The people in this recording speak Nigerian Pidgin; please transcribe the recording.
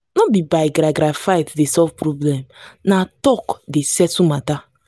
no be by garagara fight dey solve problem na talk dey settle matter.